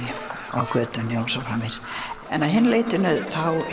á götunni og svo framvegis en að hinu leytinu